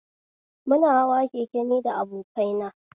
Muna hawa keke ni da abokina